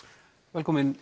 velkomin